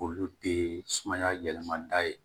Olu te sumaya yɛlɛma da ye